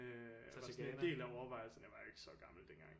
Øh var sådan en del af overvejelserne jeg var ikke så gammel dengang